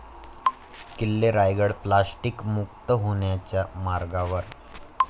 किल्ले रायगड प्लास्टिकमुक्त होण्याच्या मार्गावर